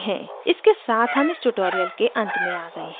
इसके साथ हम इस tutorial में अंत में आ गए हैं